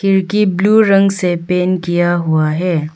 खिड़की ब्लू रंग से पेंट किया हुआ है।